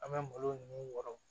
An bɛ malo ninnu wɔrɔn